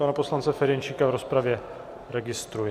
Pana poslance Ferjenčíka v rozpravě registruji.